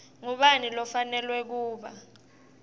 ngubani lofanelwe kuba